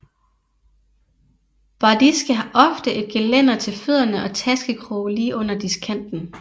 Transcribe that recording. Bardiske har ofte et gelænder til fødderne og taskekroge lige under diskkanten